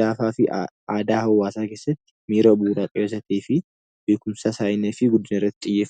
laafaa fi aadaa hawwaasaa keessatti beekumsa isaa fi guddina irratti xiyyeeffatu dha.